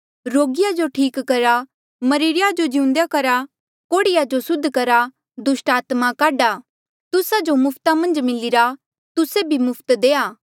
रोगिया जो ठीक करा मरिरे या जो जिउंदा करा कोढ़िया जो सुद्ध करा दुस्टात्मा काढा तुस्सा जो मुफ्त मिलिरा तुस्से भी मुफ्त देआ